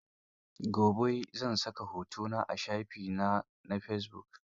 Gobe zan saka hoto na a shafi na na fesibuk.